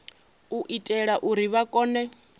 u itela uri vha kone